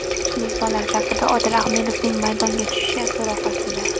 Mezbonlar safida Odil Ahmedovning maydonga tushishi so‘roq ostida.